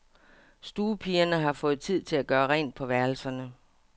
Stuepigerne har fået tid til at gøre rent på værelserne.